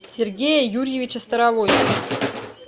сергея юрьевича старовойтова